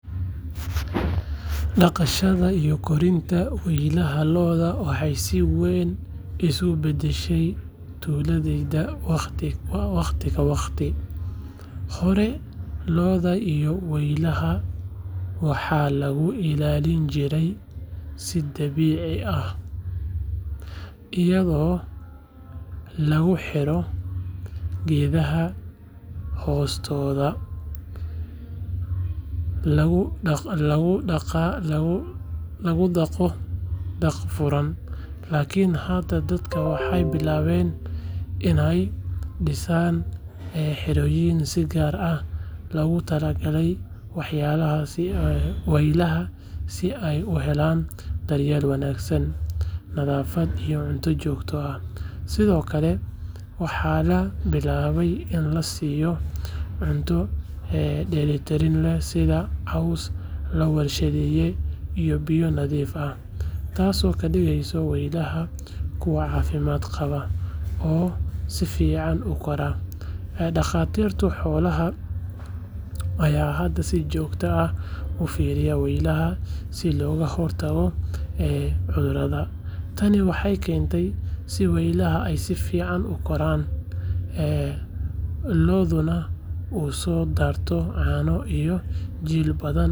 Dhaqashada iyo korinta waylaha lo’da waxay si weyn isugu beddeshay tuuladayda waqti ka waqti. Hore lo’da iyo waylaha waxaa lagu ilaalin jiray si dabiici ah, iyadoo lagu xiro geedaha hoostooda laguna dhaqo daaq furan. Laakiin hadda dadka waxay bilaabeen inay dhisaan xerooyin si gaar ah loogu talagalay waylaha si ay u helaan daryeel wanaagsan, nadaafad iyo cunto joogto ah. Sidoo kale waxaa la bilaabay in la siiyo cunto dheellitiran sida caws la warshadeeyay iyo biyo nadiif ah, taasoo ka dhigeysa waylaha kuwo caafimaad qaba oo si fiican u koraa. Dhakhaatiirta xoolaha ayaa hadda si joogto ah u fiiriya waylaha si looga hortago cudurada. Tani waxay keentay in waylaha ay si fiican u koraan, lo’duna u soo saarto caano iyo jiil badan.